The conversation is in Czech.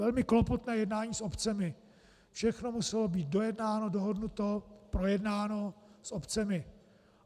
Velmi klopotná jednání s obcemi, všechno muselo být dojednáno, dohodnuto, projednáno s obcemi.